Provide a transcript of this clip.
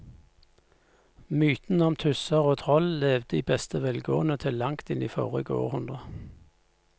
Mytene om tusser og troll levde i beste velgående til langt inn i forrige århundre.